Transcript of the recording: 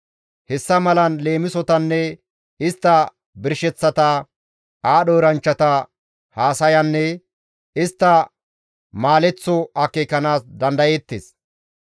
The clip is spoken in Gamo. Hessa malan leemisotanne istta birsheththata, aadho eranchchata haasayanne istta maaleththo akeekanaas dandayeettes.